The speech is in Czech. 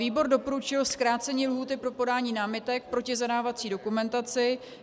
Výbor doporučil zkrácení lhůty pro podání námitek proti zadávací dokumentaci.